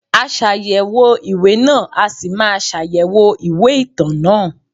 Aṣàyẹ̀wò ìwé náà a ṣì máa ṣàyẹ̀wò ìwé ìtàn náà.